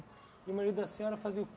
E o marido da Senhora fazia o